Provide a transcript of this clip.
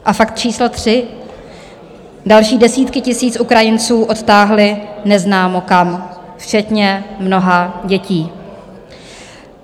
A fakt číslo tři - další desítky tisíc Ukrajinců odtáhli neznámo kam včetně mnoha dětí.